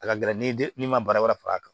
A ka gɛlɛn ni min ma baara wɛrɛ far'a kan